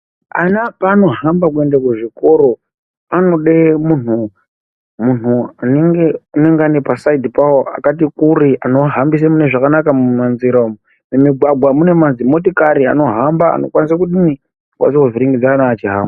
Ana paanohambe kuenda kuzvikoro anode munhu anenge anenga pasaidi pawo akati kure anohambire zvakanaka mumanjira umwu mumigwagwa mune madzimotikari ankwanisa kuvhiringidza vana vachihamba.